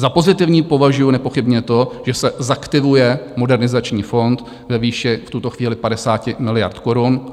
Za pozitivní považuji nepochybně to, že se zaktivuje Modernizační fond ve výši v tuto chvíli 50 miliard korun.